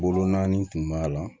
Bolonani tun b'a la